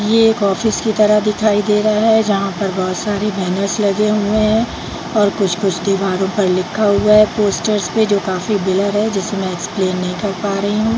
ये एक ऑफिस की तरह दिखाई दे रहा है जहाँ पर बहुत सारी बैनर्स लगे हुए हैं और कुछ-कुछ दीवारों पर लिखा हुआ हैं पोस्टर्स पे जो काफी ब्लर है जिसे में एक्सप्लेन नहीं कर पा रही हूँ।